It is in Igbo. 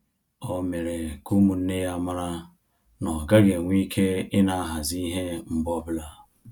Ọ mere ka ụmụnne ya mara na-ọ gaghị enwe ike ina ahazi ihe mgbe ọbụla